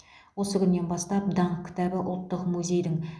осы күннен бастап даңқ кітабы ұлттық музейдің